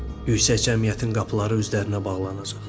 Yüksək cəmiyyətin qapıları üzlərinə bağlanacaq.